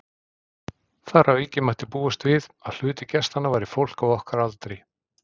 Þar að auki mætti búast við, að hluti gestanna væri fólk á okkar aldri.